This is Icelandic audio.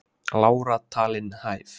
Lára talin hæf